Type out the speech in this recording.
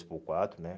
três por quatro, né?